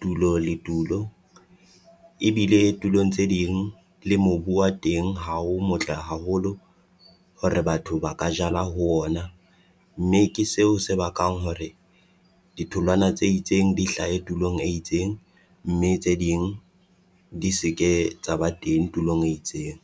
tulo le tulo. Ebile tulong tse ding le mobu wa teng ha o motle haholo hore batho ba ka jala ho ona, mme ke seo se bakang hore ditholwana tse itseng di hlahe tulong e itseng, mme tse ding di se ke tsa ba teng tulong e itseng.